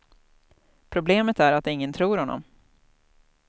Problemet är att ingen tror honom.